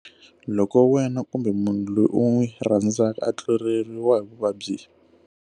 Loko wena kumbe munhu loyi u n'wi rhandzaka a tluleriwa hi vuvabyi?